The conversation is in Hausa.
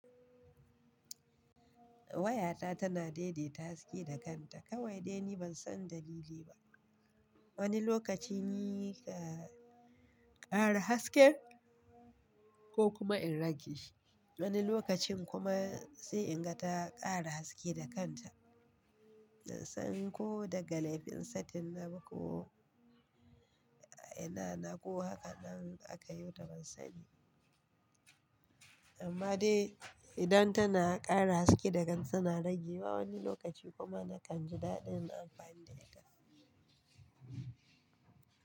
Wayata tana daidaita haske da kanta kawai dai ni ban san dalili ba. Wani lokaci ni ke kara haske ko kuma in rage shi. Wani lokacin kuma sai in ga ta kara haske da kanta. Ban san ko daga laifin satin na ba ko ina na ko haka nan aka yota ban sani. Amma dai idan tana kara haske da kan tana rage wa wani lokaci kuma nakan ji daɗin amfani da ita.